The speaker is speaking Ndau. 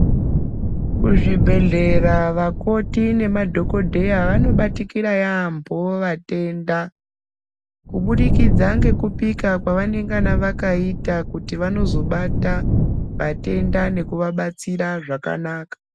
Kuzvibhedhlera vakoti nemadhokodheya vanobatikira yaambo vatenda, kubudikidza nekupika kwavanengana vakaita kuti vanozobata vatenda nekuvabatsira zvakanaka.